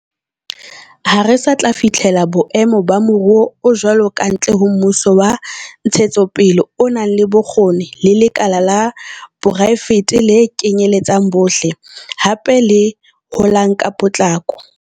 Ha re sa tla fihlela boemo ba moruo o jwalo kantle ho mmuso wa ntshetsopele o nang le bokgoni le lekala la poraefete le kenyeletsang bohle, hape le holang ka potlako.